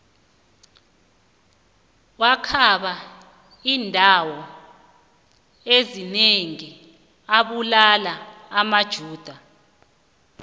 wakhamba indawo ezinengi abulala amajuda